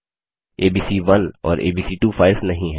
ABC one और एबीसी2 files नहीं हैं